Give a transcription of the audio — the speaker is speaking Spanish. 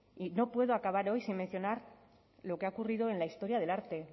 y no puedo acabar sin mencionar lo que ha ocurrido en la historia del arte